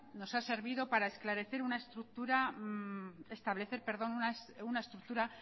nos ha servido para establecer una estructura